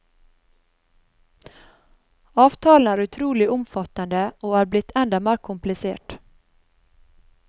Avtalen er utrolig omfattende og er blitt enda mer komplisert.